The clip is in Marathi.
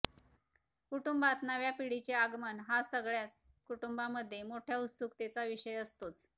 कुटुंबात नव्या पिढीचे आगमन हा सगळ्याच कुटुंबांमधे मोठ्या उत्सुकतेचा विषय असतोच